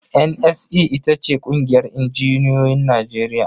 NSE ita ce ƙungiyar injinioyin Najeriya.